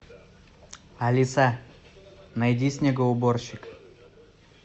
алиса найди снегоуборщик